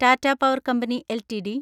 Tata power company LTD